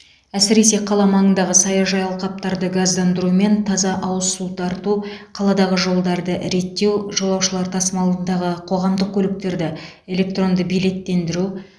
әсіресе қала маңындағы саяжай алқаптарды газдандыру мен таза ауыз су тарту қаладағы жолдарды реттеу жолаушылар тасымалындағы қоғамдық көліктерді электронды билеттендіру